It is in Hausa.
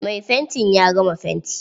Mai fanti ya gama fanti.